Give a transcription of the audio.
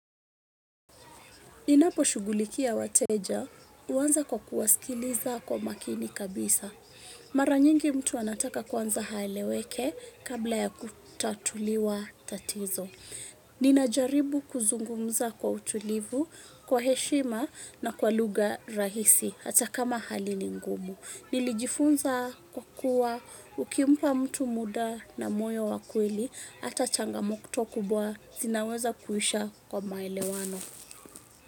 Ninapo shugulikia wateja, uanza kwa kuwasikiliza kwa makini kabisa. Mara nyingi mtu anataka kwanza haeleweke kabla ya kutatuliwa tatizo. Ninajaribu kuzungumza kwa utulivu, kwa heshima na kwa luga rahisi, hata kama hali ni ngumu. Nilijifunza kwa kuwa, ukimpa mtu muda na moyo wa kweli, hata changa mokto kubwa, zinaweza kuisha kwa maelewano.